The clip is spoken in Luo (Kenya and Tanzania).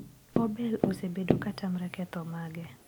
Obel osebedo katamre ketho mage.